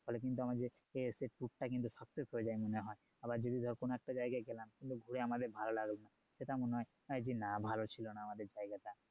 ফলে কিন্তু আমাদের যে সেই tour টা success হয়ে যাই মনে হয় আর যদি ধরে কোনো একটা জায়গায় গেলাম কিন্তু ঘুরে আমাদের ভালো লাগলো না সেটা মনে হয় যে না ভালো ছিলোনা আমাদের জায়গাটা